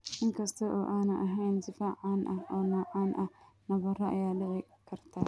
Inkasta oo aanay ahayn sifo caan ah oo noocaan ah, nabaro ayaa dhici karta.